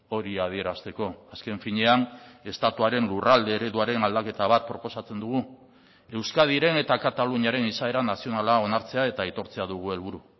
hori adierazteko azken finean estatuaren lurralde ereduaren aldaketa bat proposatzen dugu euskadiren eta kataluniaren izaera nazionala onartzea eta aitortzea dugu helburu